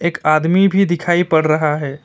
एक आदमी भी दिखाई पड़ रहा है।